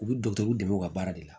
U bɛ dɔkitɛriw dɛmɛ u ka baara de la